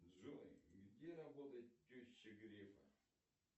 джой где работает теща грефа